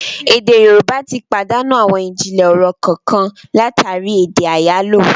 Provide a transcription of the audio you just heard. Èdè Yorùbá tí pàdánù àwọn ijinlẹ ọ̀rọ̀ kànkan látàri èdè àyálò